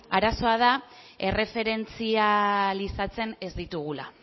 arazoa da erreferentzializatzen ez ditugula